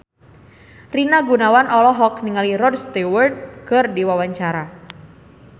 Rina Gunawan olohok ningali Rod Stewart keur diwawancara